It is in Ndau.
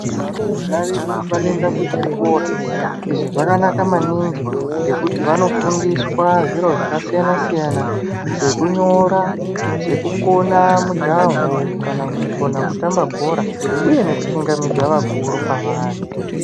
Varumbwana vedu vanoenda kuzvikora ,izvi zvakanaka maningi ngekuti vandofundiswa zviro zvakasiyana siyana sekunyora sekukona mujaho kana kutamba bhora uye ngekuchingamidza vakuru kwavari.